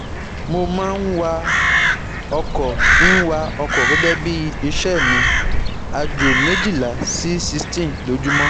Mo ma n wa oko n wa oko gege bi ise mi, ajo mejila si sixteen lójúmọ́